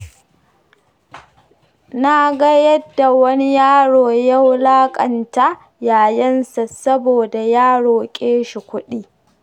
Naga yadda wani yaro ya wulaƙanta yayansa, saboda ya roƙe shi kuɗi.